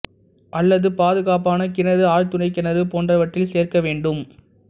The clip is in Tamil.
அல்லது பாதுகாப்பான கிணறு ஆழ்துளை கிணறு போன்றவற்றில் சேர்க்க வேண்டும்